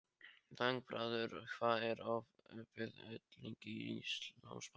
Þangbrandur, hvað er opið lengi í Íslandsbanka?